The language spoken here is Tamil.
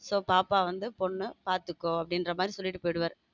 சோ பாப்பா வந்து பொண்ணு பாத்துக்கோ அப்படின்னு சொல்லிட்டு போயிருவாரு.